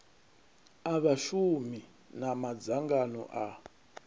a vhashumi na madzangano a